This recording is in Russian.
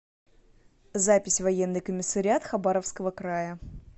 запись военный комиссариат хабаровского края